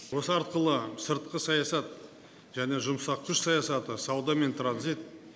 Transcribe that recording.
осы арқылы сыртқы саясат және жұмсақ күш саясаты сауда және транзит